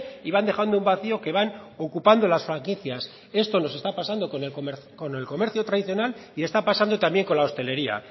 y van dejando un vacío que van ocupando las franquicias esto nos está pasando con el comercio tradicional y está pasando también con la hostelería